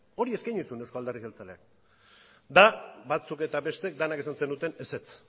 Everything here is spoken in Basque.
hori eskaini zuen euzko alderdi jeltzaleak eta batzuek eta besteek denok esan zenuten ezetz